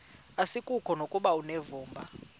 asikuko nokuba unevumba